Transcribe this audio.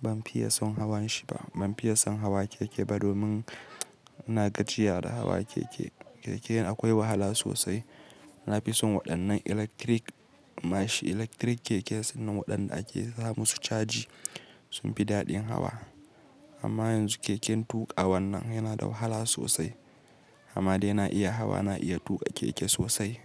ban fiye son hawan shi ba. Ban fiye son hawa keke ba domin ina gajiya da hawa keke. Keke akwai wahala sosai. Na fi son waɗannan electric mashin, electric keke sannan waɗanda ake sa musu caji sun fi daɗin hawa. Amma yanzu keken tuƙa wannan yana da wahala sosai. Amma dai na iya hawa, na iya tuƙa keke sosai.